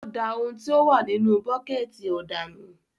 O dà òun tí o wà nínú buketi òdà nù